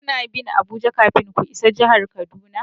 Kuna bin Abuja kafin ku isa jihar Kaduna.